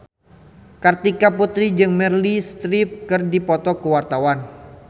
Kartika Putri jeung Meryl Streep keur dipoto ku wartawan